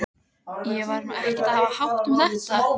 Indíra, hvað er jörðin stór?